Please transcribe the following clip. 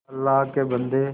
अल्लाह के बन्दे